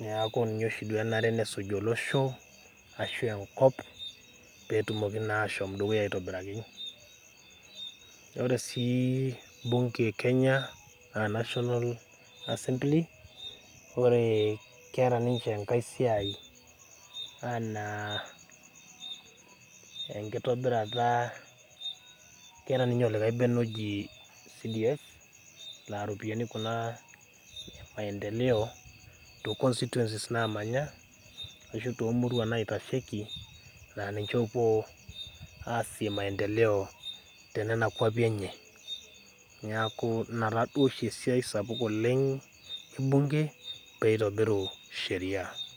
.neeku ninye oshi enare neisuj olosho ashu enkop pee etumoki naa ashom dukuya aitobiraki .ore sii bunge kenya naa national assembly ore naa keeta ninye olikae bene oji ole CDF laa likae bene ele lemaendeleo teconstituensis naamanya ashu toomutuan naitasheki laa ninche opuo aasie maendeleo tenena kwapi enye, neeku ina oshi esiai ebunge pee eitobiru sheria.